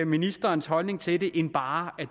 ministerens holdning til det end bare det